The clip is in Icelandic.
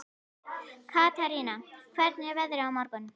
Katarína, hvernig er veðrið á morgun?